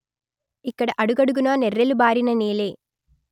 ఇక్కడ అడుగడుగునా నెర్రెలు బారిన నేలే